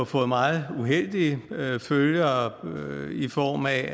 fået meget uheldige følger i form af